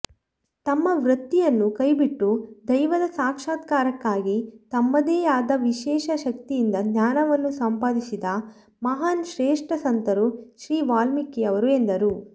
ತಮ್ಮ ವೃತ್ತಿಯನ್ನು ಕೈಬಿಟ್ಟು ದೈವದ ಸಾಕ್ಷಾತ್ಕಾರಕ್ಕಾಗಿ ತಮ್ಮದೇಯಾದ ವಿಶೇಷ ಶಕ್ತಿಯಿಂದ ಜ್ಞಾನವನ್ನು ಸಂಪಾದಿಸಿದ ಮಹಾನ್ ಶ್ರೇಷ್ಠ ಸಂತರು ಶ್ರೀವಾಲ್ಮೀಕಿಯವರು ಎಂದರು